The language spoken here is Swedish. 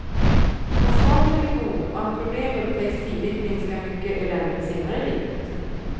Att starten blir god och att problem upptäcks tidigt minskar mycket elände senare i livet.